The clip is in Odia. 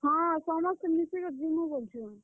ହଁ, ସମସ୍ତେ ମିଶି କରି ଯିମୁଁ ବୋଲୁଛନ୍।